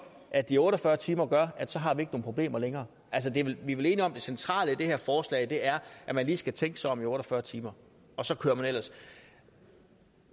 at de otte og fyrre timer gør at så har vi ikke nogen problemer længere vi er vel enige om at det centrale i det her forslag er at man lige skal tænke sig om i otte og fyrre timer og så kører man ellers